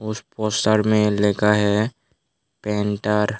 इस पोस्टर में लिखा है पेंटर ।